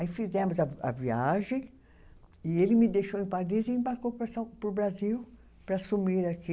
Aí fizemos a vi, a viagem e ele me deixou em Paris e embarcou para São, para o Brasil para assumir aqui.